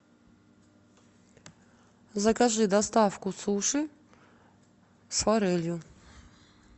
закажи доставку суши с форелью